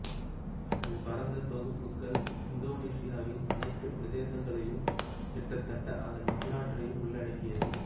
அதன் பரந்த தொகுப்புகள் இந்தோனேசியாவின் அனைத்து பிரதேசங்களையும் கிட்டத்தட்ட அதன் வரலாற்றையும் உள்ளடக்கியது